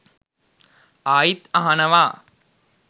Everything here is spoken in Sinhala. ආයිත් අහනවා